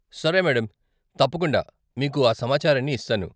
సరే మేడమ్ , తప్పకుండా మీకు ఆ సమాచారాన్ని ఇస్తాను.